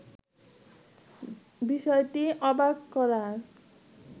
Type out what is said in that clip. বিষয়টি অবাক করার